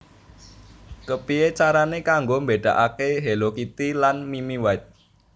Kepiye carane kanggo mbedakake Hello Kitty lan Mimmy White